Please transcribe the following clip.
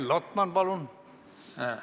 Mihhail Lotman, palun!